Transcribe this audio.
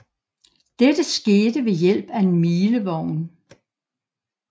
Dette skete ved hjælp af en milevogn